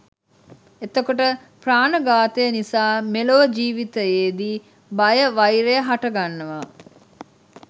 එතකොට ප්‍රාණඝාතය නිසා මෙලොව ජීවිතයේදී බය වෛර හටගන්නවා